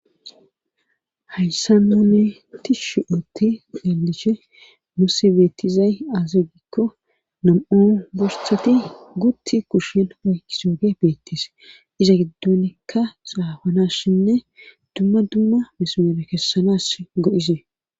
hayssa none ti shi7utti gelishe musi beettizay aze gikko nam7u borsati gutti kushin wuysuuge beettes iza giddonkka saafanas shinne dumma dumma mismere kessanas go7isee